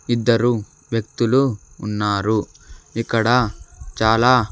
ఇద్దరు వ్యక్తులు ఉన్నారు ఇక్కడ చాలా--